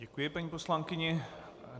Děkuji paní poslankyni.